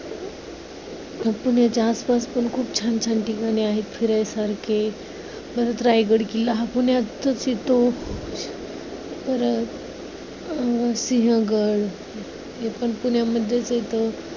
मग पुण्याच्या आसपास पण खूप छान छान ठिकाणे आहेत फिरायसारखे. परत रायगड किल्ला हा पुण्यातच येतो. परत अं सिंहगड ते पण पुण्यामध्येच येतो.